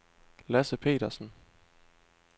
Lasse Petersen